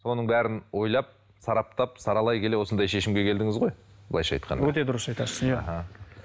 соның бәрін ойлап сараптап саралай келе осындай шешімге келдіңіз ғой былайынша айтқанда өте дұрыс айтасыз иә іхі